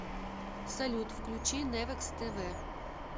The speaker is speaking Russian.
салют включи невекс тэ вэ